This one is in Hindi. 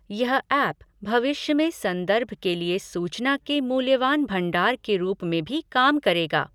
यह ऐप भविष्य में संदर्भ के लिए सूचना के मूल्यवान भंडार के रूप में भी काम करेगा।